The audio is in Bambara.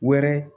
Wɛrɛ